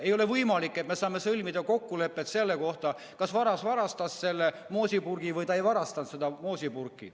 Ei ole võimalik, et me saame sõlmida kokkulepet selle kohta, kas varas varastas moosipurgi või ta ei varastanud seda moosipurki.